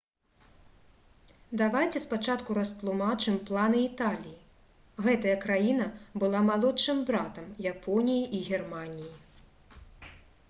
давайце спачатку растлумачым планы італіі. гэтая краіна была «малодшым братам» японіі і германіі